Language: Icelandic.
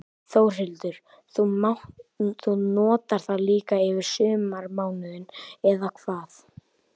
Þórhildur: Þú notar það líka yfir sumarmánuðina, eða hvað?